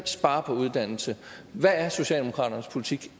spare på uddannelse hvad er socialdemokratiets politik